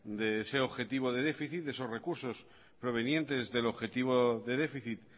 de ese objetivo de déficit de esos recursos provenientes del objetivo de déficit